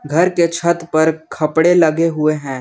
घर के छत पर खपड़े लगे हुए हैं।